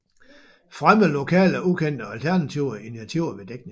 Fremme lokale ukendte og alternative initiativer ved dækning